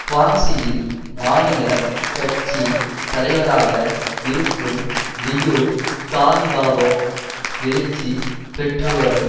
குவாங்சியில் மாநில கட்சி தலைவராக இருக்கும் லியு க்விபாவோ எழுச்சி பெற்றுவரும்